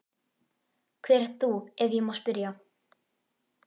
Hver ert þú ef ég má spyrja?